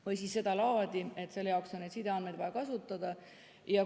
Või siis sedalaadi, et selle jaoks on neid sideandmeid vaja kasutada.